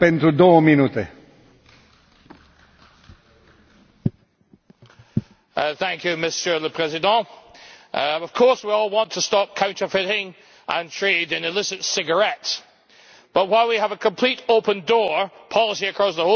Mr President, of course we all want to stop counterfeiting and the trade in illicit cigarettes but, while we have a complete open door policy across the whole of Europe, how on earth are we meant to check for quality and control for contraband?